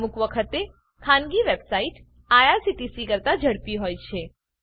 અમુક વખતે ખાનગી વેબસાઈટ આઇઆરસીટીસી કરતા ઝડપી હોય છે